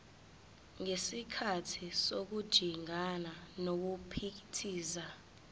ngesikhathi sokujingana nokuphithiza